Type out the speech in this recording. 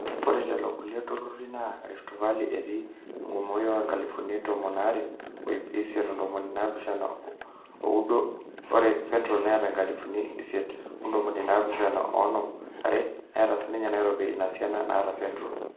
ore lelo kulie turrurri naa rift valley etii enkumoi aa inkalifuni tomon aare o ip isiet ontomoni naapishana ooudo ore central neeta inkalifuni isiet ontomoni naapishana oonom waare, neeta sinye nairobi ina siana naata central.